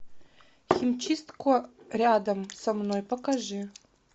химчистку рядом со мной покажи